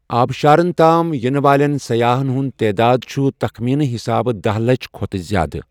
آبشارن تام ینہِ والٮ۪ن سیاحن ہنٛد تعداد چھ تخمینہٕ حسابہٕ دہ لَچھ کھۄتہٕ زیٛادٕ ۔